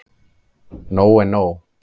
Nóg er nóg.